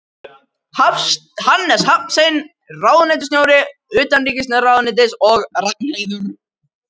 Hannes Hafstein, ráðuneytisstjóri utanríkisráðuneytis og Ragnheiður